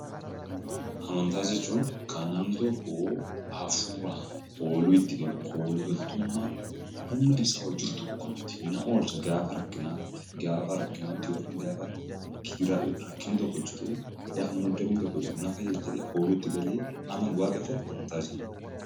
Amantaa jechuun kan namni tokkoo hafuuraan kooluu itti galu kooluu galtummaa humna isaa ol jiru tokkotti na oolcha gaafa rakkinaatti, gaafa rakkinaatti yokan gaafa gidiraa yookan rakkinni tokko jiruu gaafa muddamni tokko jiru nafayyada jedhee kooluu itti galee amanu waaqeffatu amantaa jenna.